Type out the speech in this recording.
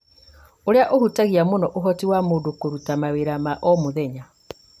ũrĩa ũhutagia mũno ũhoti wa mũndũ kũruta mawĩra ma o mũthenya